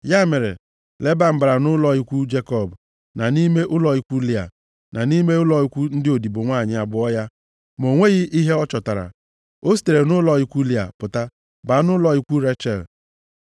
Ya mere, Leban bara nʼụlọ ikwu Jekọb, na nʼime ụlọ ikwu Lịa, na nʼime ụlọ ikwu ndị odibo nwanyị abụọ ya, ma o nweghị ihe ọ chọtara. O sitere nʼụlọ ikwu Lịa pụta baa nʼụlọ ikwu Rechel.